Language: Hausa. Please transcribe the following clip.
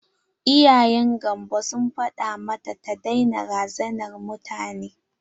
Iyayen gamvo sun faɗa mata ta daina razanar mutane.